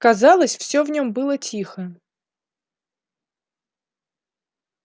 казалось всё в нём было тихо